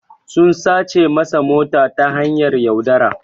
sun sace masa mota ta hanyar yaudara.